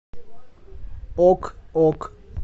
ок ок